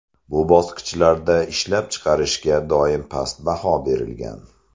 Bu bosqichlarda ishlab chiqarishga doim past baho berilgan.